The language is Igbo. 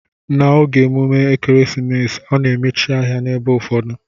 Na oge emume ekeresimesi ana emechi ahia na ebe ụfọdụ.